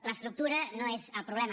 l’estructura no és el problema